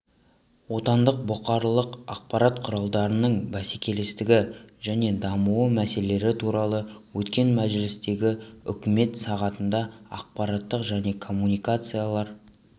отандық бұқаралық ақпарат құралдарының бәсекелестігі және дамуы мәселелері туралы өткен мәжілістегі үкімет сағатында ақпарат және коммуникациялар